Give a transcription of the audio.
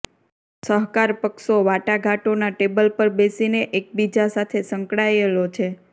સહકાર પક્ષો વાટાઘાટોના ટેબલ પર બેસીને એકબીજા સાથે સંકળાયેલો છે